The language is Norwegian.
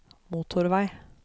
motorvei